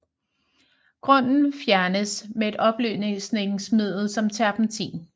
Grunden fjernes med et opløsningsmiddel som terpentin